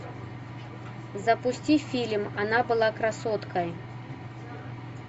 запусти фильм она была красоткой